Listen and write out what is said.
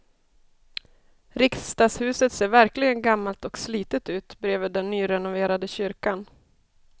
Riksdagshuset ser verkligen gammalt och slitet ut bredvid den nyrenoverade kyrkan.